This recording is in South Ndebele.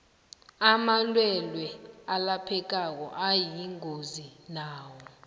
amalwelwe alaphekako ayingozi nawo